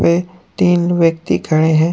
तीन व्यक्ति खड़े हैं।